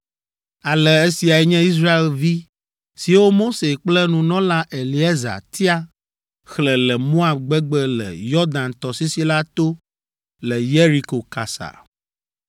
Ale esiae nye Israelvi siwo Mose kple nunɔla Eleazar tia xlẽ le Moab gbegbe le Yɔdan tɔsisi la to le Yeriko kasa.